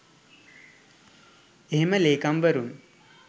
එහෙම ලේකම්වරුන්